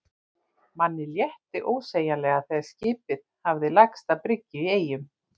Manni létti ósegjanlega þegar skipið hafði lagst að bryggju í Eyjum.